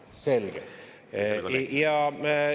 Selge, asjad arenevad.